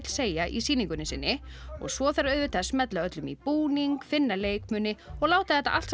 segja í sýningunni sinni svo þarf að smella öllum í búning finna leikmuni og láta þetta allt